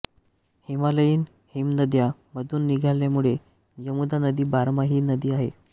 हिमालयीन हिमनद्यां मधून निघाल्यामुळे यमुना नदी बारमाही नदी आहे